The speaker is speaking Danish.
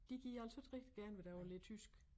De gider altså ikke rigtig gerne i dag at lære tysk